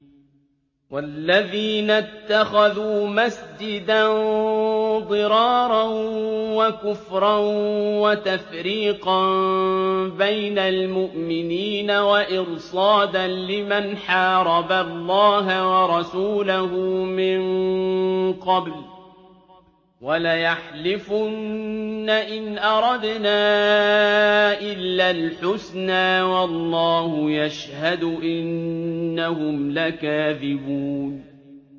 وَالَّذِينَ اتَّخَذُوا مَسْجِدًا ضِرَارًا وَكُفْرًا وَتَفْرِيقًا بَيْنَ الْمُؤْمِنِينَ وَإِرْصَادًا لِّمَنْ حَارَبَ اللَّهَ وَرَسُولَهُ مِن قَبْلُ ۚ وَلَيَحْلِفُنَّ إِنْ أَرَدْنَا إِلَّا الْحُسْنَىٰ ۖ وَاللَّهُ يَشْهَدُ إِنَّهُمْ لَكَاذِبُونَ